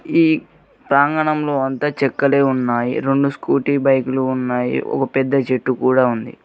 ఈ ప్రాంగణంలో అంత చెక్కలే ఉన్నాయి రొండు స్కూటీ బైక్లు ఉన్నాయి ఒక పెద్ద చెట్టు కూడా ఉంది.